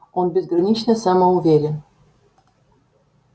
он безгранично самоуверен